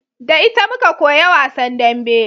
Da ita muka koya wasan dambe